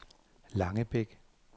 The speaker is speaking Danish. Langebæk